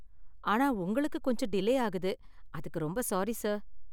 ஆனா உங்களுக்கு கொஞ்சம் டிலே ஆகுது, அதுக்கு ரொம்ப சாரி சார்.